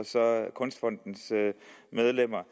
kunstfondens medlemmer